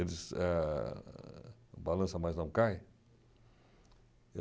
O balanço mais não cai?